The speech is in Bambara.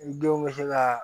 I denw bɛ se ka